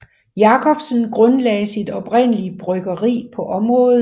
Jacobsen grundlagde sit oprindelige bryggeri på området